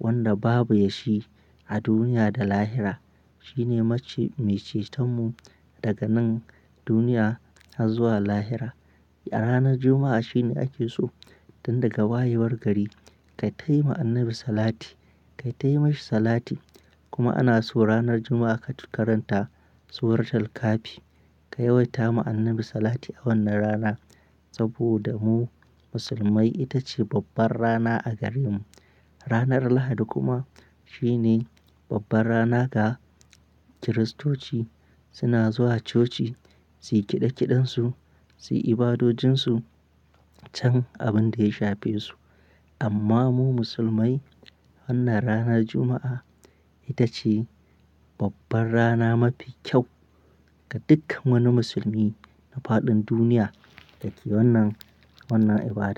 wanda babu ya shi a duniya da lahira. Shi ne mace-- mai ceton mu daga nan duniya har zuwa lahira. A ranar Juma'a shine ake so tun daga wayewar gari kayita yi ma Annabi Salati, kata yi masa Salati. Kuma ana so ranar Juma'a ka tukaranta suratul kahfi. Ka yawaita ma Annabi Salati a wannan rana saboda mu Musulmai ita ce babbar rana a gare mu. Ranar Lahadi kuma shi ne babbar rana ga Kiristoci. Suna zuwa coci, su yi kiɗe kiɗan su, su yi ibadojin su can abin da ya shafe su. Amma mu Musulmai wannan ranar Juma'a ita ce babbar rana mafi kyau ga dukkan wani musulmi a fadin duniya dake wannan, wannan ibada.